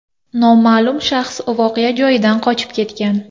Noma’lum shaxs voqea joyidan qochib ketgan.